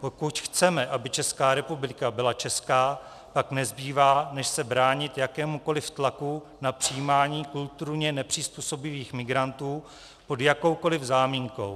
Pokud chceme, aby Česká republika byla česká, pak nezbývá, než se bránit jakémukoliv tlaku na přijímání kulturně nepřizpůsobivých migrantů pod jakoukoliv záminkou.